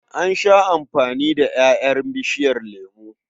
An sha amfana da ƴaƴan bishiyar lemo.